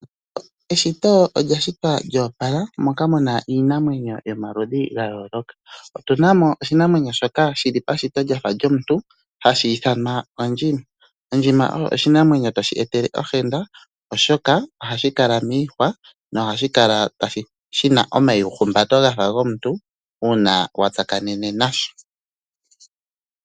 Eshito olya shitwa lyoopala moka muna iinamwenyo yomaludhi ga yooloka. Otuna mo oshinamwenyo shoka shili pashito lyafa lyomuntu hashi ithanwa ondjima. Ondjima oyo oshinamwenyo toshi etele ohenda oshoka ohashi kala miihwa nohashi kala shina omaihumbato gafa gomuntu uuna wa tsakanene nasho.